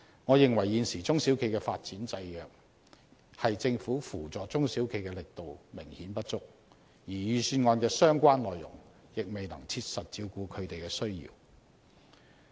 我認為現時中小企的發展制約，是政府扶助中小企的力度明顯不足，而預算案的相關內容亦未能切實照顧他們的需要。